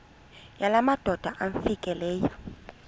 yala madoda amfikeleyo